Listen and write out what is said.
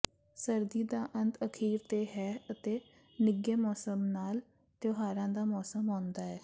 ਸਰਦੀ ਦਾ ਅੰਤ ਅਖੀਰ ਤੇ ਹੈ ਅਤੇ ਨਿੱਘੇ ਮੌਸਮ ਨਾਲ ਤਿਉਹਾਰਾਂ ਦਾ ਮੌਸਮ ਆਉਂਦਾ ਹੈ